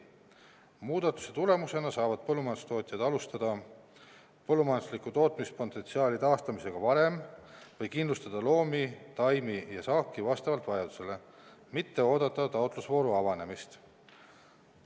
Muudatuse tulemusena saavad põllumajandustootjad alustada põllumajandusliku tootmispotentsiaali taastamisega varem, või kindlustada loomi, taimi ja saaki vastavalt vajadusele, mitte oodata taotlusvooru avanemist.